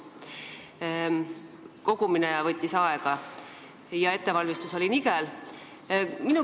Enda kogumine võttis aega ja ettevalmistus oli nigel.